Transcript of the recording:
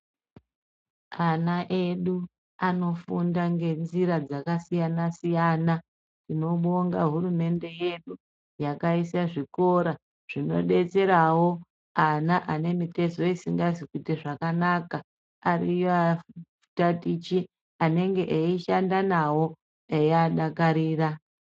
Ana edu anofunda ngenzira dzakasiyana siyana. Tinobonga hurumende yedu yakaisa zvikora zvinodetserawo ana ane mitezo isingasi kuite zvakanaka. Ariyo atatichi anenge eyishanda nawo eyiadakarira.